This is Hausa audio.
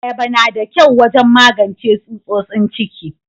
Ayaba na da kyau wajen magance tsutsotsin ciki.